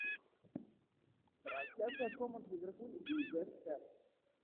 трансляция команд ливерпуль и вест хэм